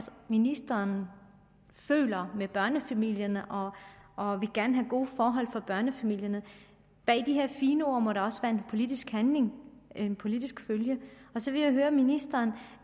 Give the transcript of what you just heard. ministeren føler med børnefamilierne og og gerne vil have gode forhold for børnefamilierne bag de her fine ord må der også være politisk handling en politisk følge og så vil jeg høre ministeren